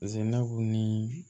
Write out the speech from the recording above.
Paseke n'a ko ni